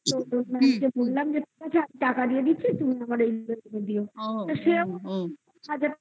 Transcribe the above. বললাম যে টাকা দিয়ে দিচ্ছি তুমি আমার মতো